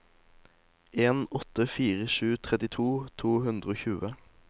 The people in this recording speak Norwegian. en åtte fire sju trettito to hundre og tjue